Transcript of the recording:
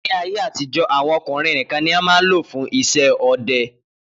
Ni ayé àtijọ́ àwọn ọkùnrin nìkan ni wọn máa ń lò fún iṣẹ́ ọdẹ